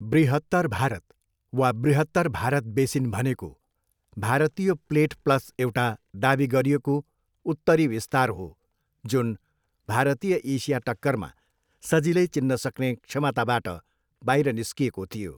बृहत्तर भारत वा बृहत्तर भारत बेसिन भनेको भारतीय प्लेट प्लस एउटा दावी गरिएको उत्तरी विस्तार हो जुन भारतीय एसिया टक्करमा सजिलै चिन्न सक्ने क्षमताबाट बाहिर निस्किएको थियो।